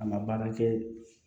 A ma baara kɛ